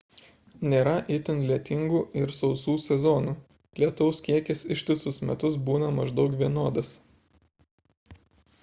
nėra itin lietingų ir sausų sezonų lietaus kiekis ištisus metus būna maždaug vienodas